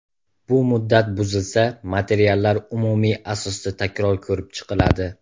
Bu muddat buzilsa, materiallar umumiy asosda takror ko‘rib chiqiladi.